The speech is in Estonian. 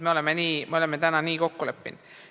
Me oleme praegu nii kokku leppinud.